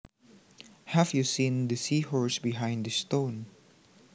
Have you seen the seahorse behind the stone